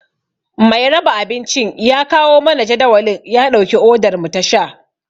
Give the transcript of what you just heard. Mai raba abincin ya kawo mana jadawalin ya ɗauki odar mu ta sha.